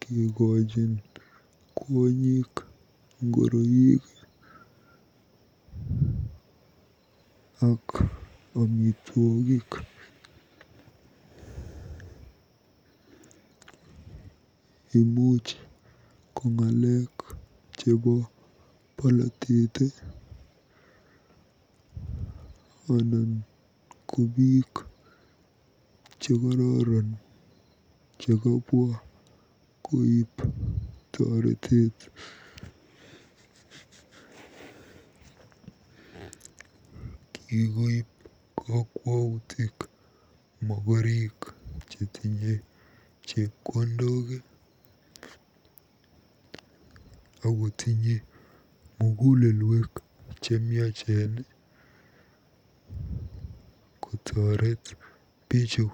kekochin kwonyik ngoroik ak amitwogik. Imuch ko boloteet anan ko biik chekororon chekabwa koib toreteet. Kikoib kokwautik mogorik chetinye chepkondok akotinye mugulelwek chekororon kotoreet bichu.